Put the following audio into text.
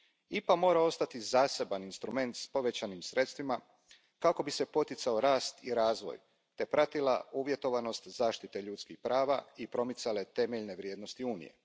IPA mora ostati zaseban instrument s povećanim sredstvima kako bi se poticao rast i razvoj te pratila uvjetovanost zaštite ljudskih prava i promicale temeljne vrijednosti Unije.